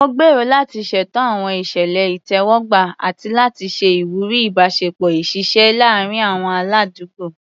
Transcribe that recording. Mo gbèrò láti ṣètò àwọn ìṣẹ̀lẹ̀ ìtẹ́wọ́gbà àti láti ṣe ìwúrí ìbáṣepọ̀ ìṣísílẹ̀ láàárín àwọn aládùúgbò.